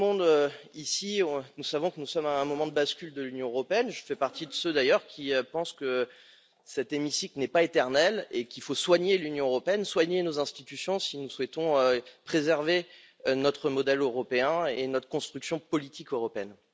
Comme tout le monde ici, nous savons que nous sommes à un moment de bascule de l'Union européenne, et je fais d'ailleurs partie de ceux qui pensent que cet hémicycle n'est pas éternel et qu'il faut soigner l'Union européenne et nos institutions si nous souhaitons préserver notre modèle européen et notre construction politique européenne.